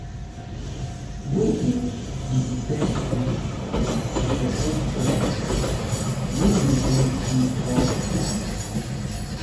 wetin be di best way to support friend um wey dey um go through tough time?